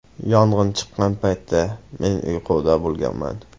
Yong‘in chiqqan paytda men uyquda bo‘lganman.